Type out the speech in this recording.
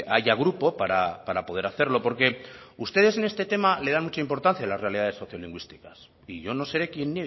haya grupo para poder hacerlo porque ustedes en este tema le dan mucha importancia a las realidades sociolingüísticas y yo no seré quien